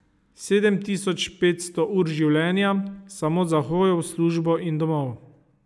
Sedem tisoč petsto ur življenja samo za hojo v službo in domov.